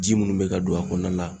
Ji munnu bɛ ka don a kɔnɔna la